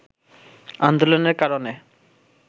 আন্দোলনের কারণে